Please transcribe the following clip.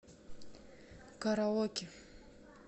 караоке